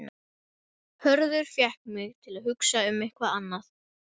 Hörður fékk mig til að hugsa um eitthvað annað.